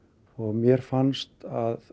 mér fannst